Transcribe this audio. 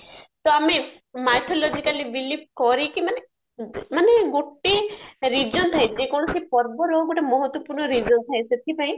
ତ ଆମ mythologically believe କରିକି ମାନେ ମାନେ ଗୋଟେ reason ଥାଏ ଯେ କୌଣସି ପର୍ବର ଗୋଟେ ମହତ୍ଵ ପୂର୍ଣ reason ଥାଏ ସେଥିପାଇଁ